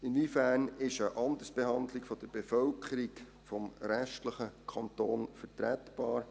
Inwiefern ist eine Andersbehandlung der Bevölkerung des restlichen Kantons vertretbar?